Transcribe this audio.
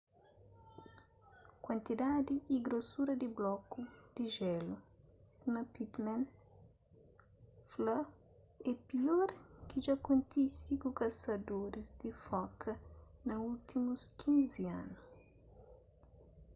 kuantidadi y grosura di bloku di jélu sima pittman fla é pior ki dja kontise ku kasadoris di foka na últimus 15 anu